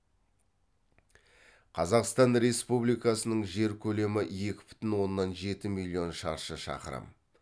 қазақстан республикасының жер көлемі екі бүтін оннан жеті миллион шаршы шақырым